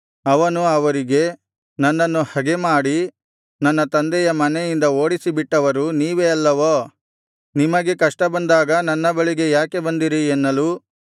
ಅವನು ಅವರಿಗೆ ನನ್ನನ್ನು ಹಗೆಮಾಡಿ ನನ್ನ ತಂದೆಯ ಮನೆಯಿಂದ ಓಡಿಸಿಬಿಟ್ಟವರು ನೀವೇ ಅಲ್ಲವೋ ನಿಮಗೆ ಕಷ್ಟ ಬಂದಾಗ ನನ್ನ ಬಳಿಗೆ ಯಾಕೆ ಬಂದಿರಿ ಎನ್ನಲು